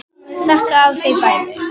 Ég þakka afa fyrir bæði.